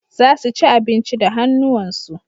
Za su ci abinci da hannuwansu.